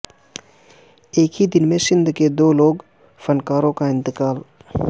ایک ہی دن میں سندھ کے دو لوک فنکاروں کا انتقال